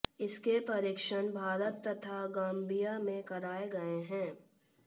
इसके परीक्षण भारत तथा गाम्बिया में कराए गए हैं